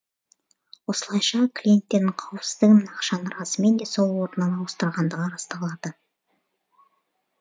осылайша клиенттердің қауіпсіздігі мен ақшаны расымен де сол орыннан ауыстырғандығы расталады